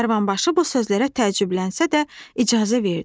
Karvanbaşı bu sözlərə təəccüblənsə də, icazə verdi.